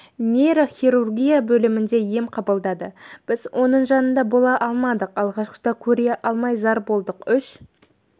нейрохирургия бөлімінде ем қабылдады біз оның жанында бола алмадық алғашқыда көре алмай зар болдық үш